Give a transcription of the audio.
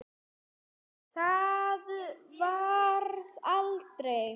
Það varð aldrei.